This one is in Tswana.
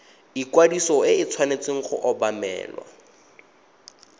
ikwadiso e tshwanetse go obamelwa